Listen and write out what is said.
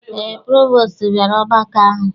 Eé, provostu bịara ọgbakọ ahụ.